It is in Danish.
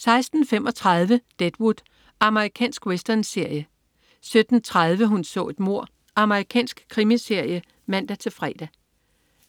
16.35 Deadwood. Amerikansk westernserie 17.30 Hun så et mord. Amerikansk krimiserie (man-fre)